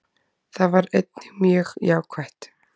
Það var einnig mjög jákvætt